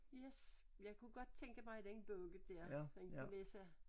Yes jeg kunne godt tænke mig den bog der den du læser